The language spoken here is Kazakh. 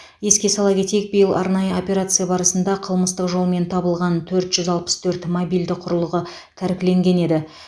еске сала кетейік биыл арнайы операция барысында қылмыстық жолмен табылған төрт жүз алпыс төрт мобильді құрылғы тәркіленген еді